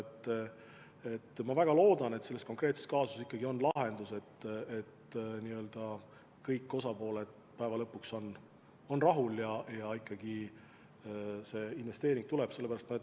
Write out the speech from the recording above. Ma siiski väga loodan, et selle konkreetse kaasuse puhul on võimalik lahendus, mille korral kõik osapooled on päeva lõpuks rahul ja ikkagi see investeering tuleb.